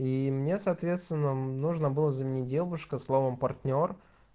и мне соответственно нужно было заменить девушка словом партнёр